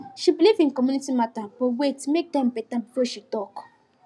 she believe in community matter but wait make time better before she talk